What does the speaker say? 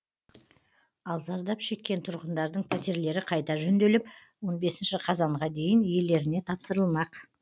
ал зардап шеккен тұрғындардың пәтерлері қайта жөнделіп он бесінші қазанға дейін иелеріне тапсырылмақ